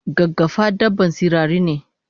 Gaggafa dabban sararine?